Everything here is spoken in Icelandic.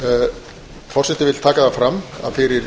forseti vill taka fram að fyrir